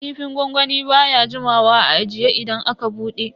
Kifin gwangwami baya jimawa a ajiye idan aka bude.